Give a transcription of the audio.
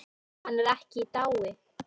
Hann er ekki í dái.